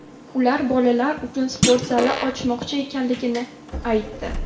Ular bolalar uchun sport zali ochmoqchi ekanliklarini aytdi.